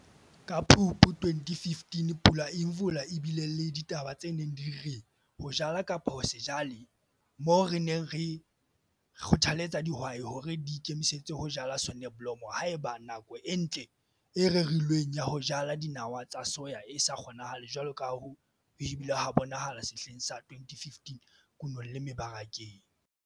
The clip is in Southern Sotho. Ka Phupu 2015 Pula Imvula e bile le ditaba tse neng di re 'Ho Jala kapa Ho se Jale' moo re neng re kgothaletsa dihwai hore di ikemisetse ho jala soneblomo haeba nako e ntle e rerilweng ya ho jala dinawa tsa soya e sa kgonahale jwalo ka ha ho ile ha bonahala sehleng sa 2015 kunong le mebarakeng.